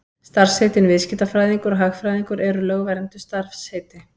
Starfsheitin viðskiptafræðingur og hagfræðingur eru lögvernduð starfsheiti.